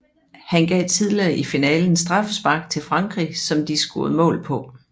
Han gav tidligere i finalen straffespark til Frankrig som de scorede mål på